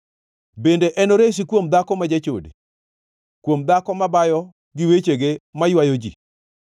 Bende enoresi kuom dhako ma jachode, kuom dhako mabayo gi wechege maywayo ji,